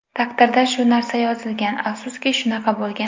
Taqdirda shu narsa yozilgan, afsuski, shunaqa bo‘lgan.